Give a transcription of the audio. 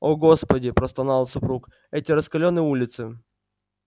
о господи простонал супруг эти раскалённые улицы